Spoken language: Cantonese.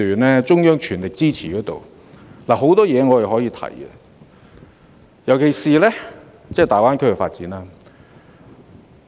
在中央政府全力支持下，許多事宜我們均可以提出，尤其是粵港澳大灣區的發展。